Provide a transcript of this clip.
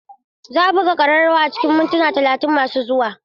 Za a buga ƙararrawa a cikin mintuna talatin masu zuwa.